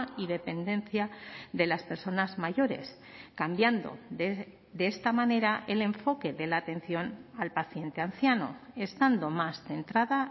y dependencia de las personas mayores cambiando de esta manera el enfoque de la atención al paciente anciano estando más centrada